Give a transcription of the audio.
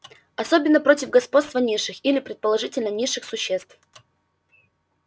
особенно против господства низших или предположительно низших существ